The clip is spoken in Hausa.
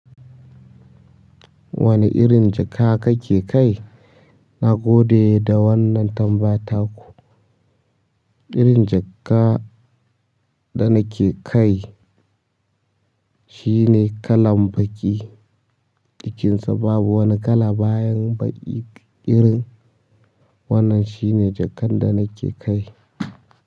Wane irin jikka kake kai? Na gode da wannan tambaya ta ku. Irin jikka da nake kai shine kalan baƙi. Jikin sa babu wani kala bayan baƙi irin. Wannan shine jikan da nike kai.